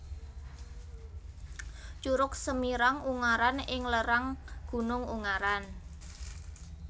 Curug Semirang Ungaran ing lerang Gunung Ungaran